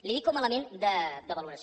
li ho dic com a element de valoració